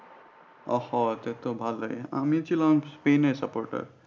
ওহো তাহলে তো ভালো আমি ছিলাম স্পেনের supporter